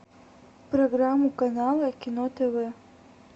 программу канала кино тв